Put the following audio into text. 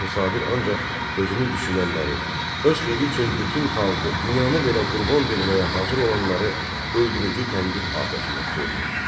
Axı Sabir ancaq özünü düşünənləri, öz xeyri üçün bütün xalqı, dünyanı belə qurban verməyə hazır olanları öldürücü tənqid atəşinə tuturdu.